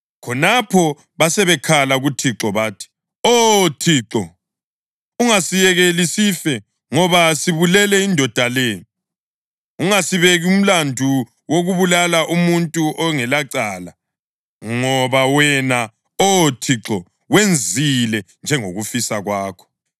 Khonapho basebekhala kuThixo bathi, “Oh, Thixo, ungasiyekeli sife ngoba sibulele indoda le. Ungasibeki umlandu wokubulala umuntu ongelacala, ngoba wena, Oh Thixo, wenzile njengokufisa kwakho.”